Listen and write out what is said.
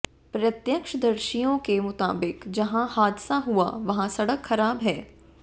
प्रत्यक्षदर्शियों के मुताबिक जहां हादसा हुआ वहां सड़क खराब है